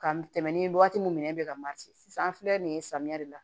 Ka mɛnɛ ni waati min nɛ bɛ ka sisan an filɛ nin ye samiya de la